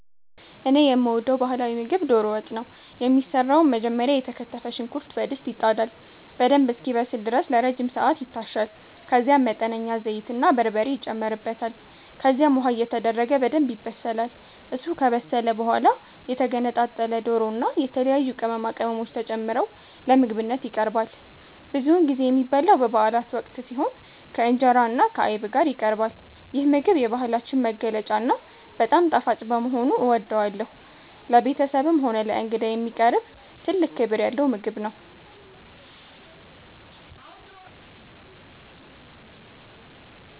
እኔ የምወደው ባህላዊ ምግብ ዶሮ ወጥ ነው። የሚሰራውም መጀመሪያ የተከተፈ ሽንኩርት በድስት ይጣዳል፤ በደንብ እስኪበስል ድረስ ለረጅም ሰዓት ይታሻል፤ ከዛም መጠነኛ ዘይትና በርበሬ ይጨመርበታል። ከዚያም ውሃ እየተደረገ በደንብ ይበሰላል። እሱ ከበሰለ በኋላ የተገነጣጠለ ዶሮና የተለያዩ ቅመማ ቅመሞች ተጨምረው ለምግብነት ይቀርባል። ብዙውን ጊዜ የሚበላው በበአላት ወቅት ሲሆን፣ ከእንጀራና ከአይብ ጋር ይቀርባል። ይህ ምግብ የባህላችን መገለጫና በጣም ጣፋጭ በመሆኑ እወደዋለሁ። ለቤተሰብም ሆነ ለእንግዳ የሚቀርብ ትልቅ ክብር ያለው ምግብ ነው።